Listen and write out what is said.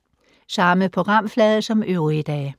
Samme programflade som øvrige dage